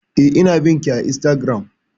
Eh, ina bin ki a Instagram